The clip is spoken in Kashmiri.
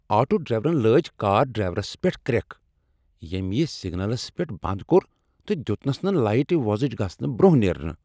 آٹوٗ ڈرٛایورن لٲج کار ڈرٛایورس پیٹھ کرٛکھ ییٚمۍ یہ سگنلس پیٹھ بنٛد کوٚر تہٕ دیتنس نہٕ لایٹہٕ وۄزٕج گژھنہٕ برٛۄنٛہہ نیرنہٕ۔